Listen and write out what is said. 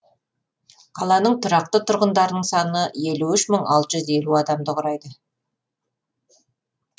қаланың тұрақты тұрғындарының саны елу үш мың алты жүз елу адамды құрайды